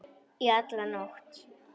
Í alla nótt.